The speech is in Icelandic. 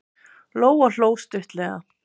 Lóa hló stuttlega.